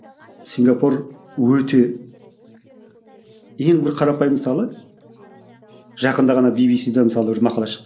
сингапур өте ең бір қарапайым мысалы жақында ғана би би си да мысалы бір мақала шықты